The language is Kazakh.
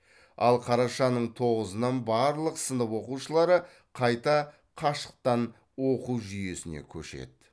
ал қарашаның тоғызынан барлық сынып оқушылары қайта қашықтан оқу жүйесіне көшеді